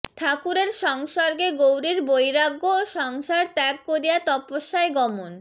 ঠাকুরের সংসর্গে গৌরীর বৈরাগ্য ও সংসার ত্যাগ করিয়া তপস্যায় গমন